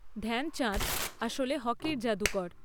ধ্যানচাঁদ আসলে হকির জাদুকর।